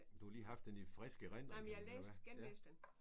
Du har lige haft den i frisk erindring eller hvad ja